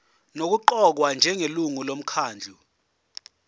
nokuqokwa njengelungu lomkhandlu